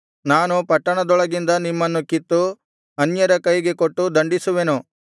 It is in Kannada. ನಾನು ಪಟ್ಟಣದೊಳಗಿಂದ ನಿಮ್ಮನ್ನು ಕಿತ್ತು ಅನ್ಯರ ಕೈಗೆ ಕೊಟ್ಟು ದಂಡಿಸುವೆನು